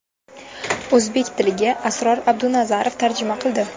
O‘zbek tiliga Asror Abdunazarov tarjima qildi.